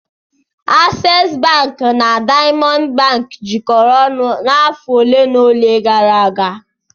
Access bank na Diamond bank jikọrọ ọnụ afọ ole na ole gara aga.